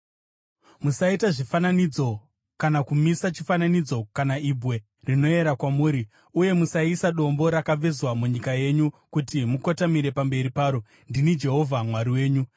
“ ‘Musaita zvifananidzo kana kumisa chifananidzo kana ibwe rinoyera kwamuri, uye musaisa dombo rakavezwa munyika yenyu kuti mukotamire pamberi paro. Ndini Jehovha Mwari wenyu.